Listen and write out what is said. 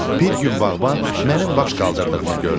Bir gün bağban mənim baş qaldırdığımı gördü.